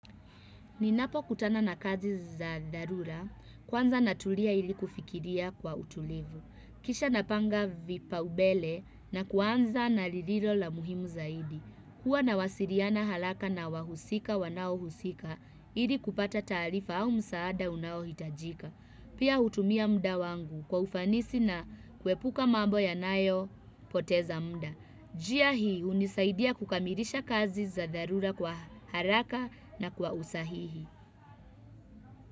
Ninapokutana na kazi za dharura, kwanza natulia ili kufikiria kwa utulivu. Kisha napanga vipaumbele na kuanza na lililo la muhimu zaidi. Huwa nawasiliana haraka na wahusika wanaohusika, ili kupata taarifa au msaada unayohitajika. Pia hutumia muda wangu kwa ufanisi na kuepuka mambo yanayopoteza muda. NJia hii hunisaidia kukamilisha kazi za dharura kwa haraka na kwa usahihi.